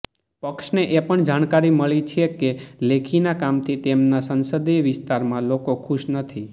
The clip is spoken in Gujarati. પક્ષને એ પણ જાણકારી મળી છે કે લેખીના કામથી તેમના સંસદિય વિસ્તારના લોકો ખુશ નથી